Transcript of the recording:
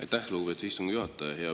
Aitäh, lugupeetud istungi juhataja!